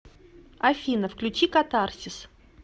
афина включи катарсис